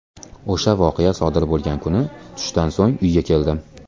O‘sha voqea sodir bo‘lgan kuni tushdan so‘ng uyga keldim.